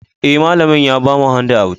Eh, malamin ya bamu handouts.